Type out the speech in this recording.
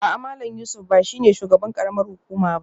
A'a Malam Yusuf ba shi ne shugaban karamar hukuma ba